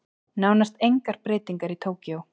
Nánast engar breytingar í Tókýó